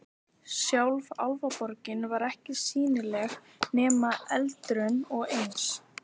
Sjálf Álfaborgin var ekki sýnileg nema endrum og eins.